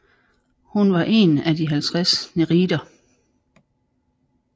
Hun var en af de 50 nereider